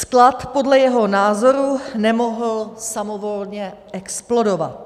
Sklad podle jeho názoru nemohl samovolně explodovat.